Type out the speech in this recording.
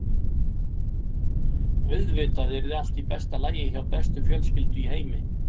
Auðvitað yrði allt í besta lagi hjá bestu fjölskyldu í heimi.